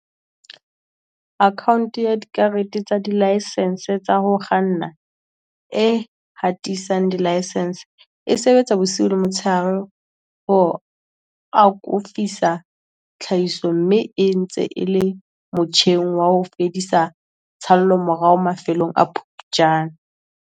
Akhaonte ya Dikarete tsa Dilaesense tsa ho Kganna, e hatisang dilaesense, e sebetsa bosiu le motsheare ho akofisa tlhahiso mme e ntse e le motjheng wa ho fedisa tshallomorao mafelong a Phuptjane.